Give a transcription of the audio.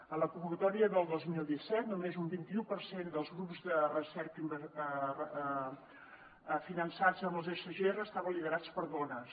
a la convocatòria del dos mil disset només un vint i u per cent dels grups de recerca finançats amb els sgr estaven liderats per dones